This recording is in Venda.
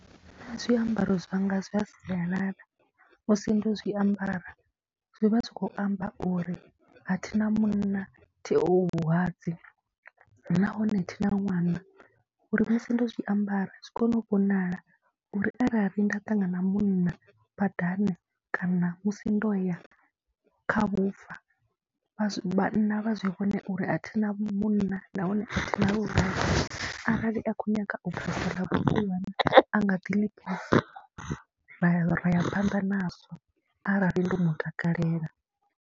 Zwiambaro zwanga zwa sialala musi ndo zwiambara zwi vha zwi khou amba uri a thi na munna, thiho vhulwadze nahone thi na ṅwana, uri musi ndo zwi ambara zwi kone u vhonala uri arali nda ṱangana munna badani kana musi ndo ya kha vhufa vha vhanna vha zwi vhone uri a thi na munna nahone na uri arali a khou nyaga u bvisa ḽa vhusiwana a nga ḓi ḽi bvisa ra ya ra ya phanḓa nazwo arali ndo mu takalela.